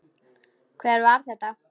Hver var þetta?